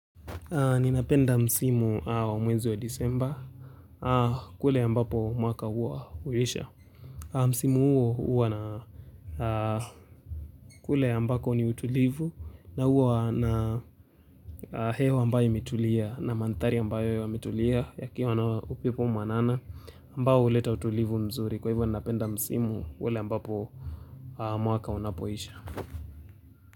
Ninapenda msimu wa mwezi wa desemba. Kule ambapo mwaka huwa huisha Msimu huo huwa na kule ambako ni utulivu na huwa na hewa ambayo imetulia na mandhari ambayo yametulia yakiwa na upepo mwanana ambao huleta utulivu mzuri kwa hivyo ninapenda msimu ule ambapo mwaka unapoisha.